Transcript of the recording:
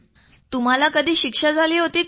तुम्हाला कधी शिक्षा झाली होती का